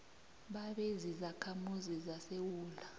babe zizakhamuzi zesewula